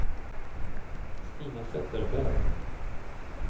Stina Zetterberg